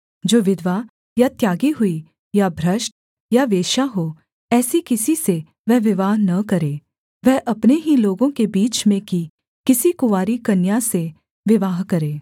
जो विधवा या त्यागी हुई या भ्रष्ट या वेश्या हो ऐसी किसी से वह विवाह न करे वह अपने ही लोगों के बीच में की किसी कुँवारी कन्या से विवाह करे